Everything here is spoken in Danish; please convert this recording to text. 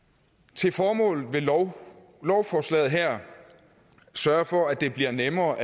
til formålet vil lovforslaget her sørge for at det bliver nemmere